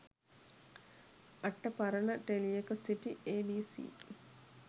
අට පරණ ටෙලියක සිටි ඒ.බී.සී.